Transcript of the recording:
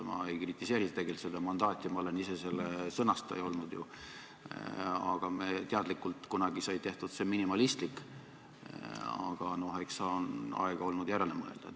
Ma ei kritiseeri tegelikult seda mandaati, ma olen ise ju selle sõnastaja olnud, meil sai see teadlikult kunagi tehtud minimalistlik, aga eks on aega olnud järele mõelda.